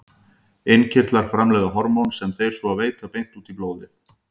Innkirtlar framleiða hormón sem þeir svo veita beint út í blóðið.